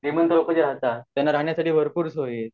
श्रीमंत लोक जे राहतात त्यांना राहण्यसाठी खूप सोयी आहेत